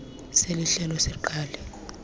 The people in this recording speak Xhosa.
seli hlelo siqale